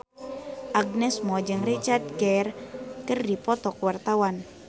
Agnes Mo jeung Richard Gere keur dipoto ku wartawan